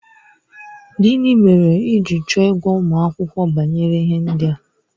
Gịnị mere i ji chọọ ịgwa ụmụ akwụkwọ banyere ihe ndị a?